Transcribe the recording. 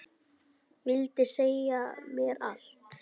Vildi segja mér allt.